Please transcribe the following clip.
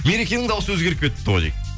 мерекенің дауысы өзгеріп кетіпті ғой дейді